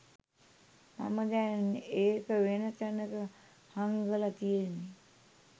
මම දැන් ඒක වෙන තැනක හංගල තියෙන්නෙ